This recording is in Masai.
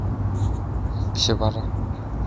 Shipata